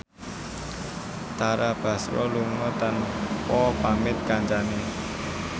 Tara Basro lunga tanpa pamit kancane